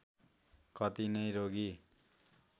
कति नै रोगी